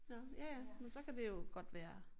Nåh ja ja men så kan det jo godt være